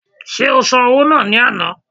Ṣé o san owó náà ní àná?